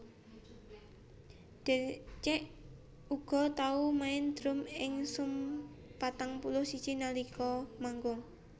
Deryck uga tau main drum ing Sum patang puluh siji nalika manggung